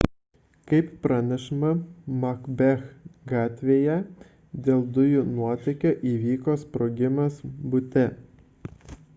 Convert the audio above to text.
kaip pranešama macbeth gatvėje dėl dujų nuotėkio įvyko sprogimas bute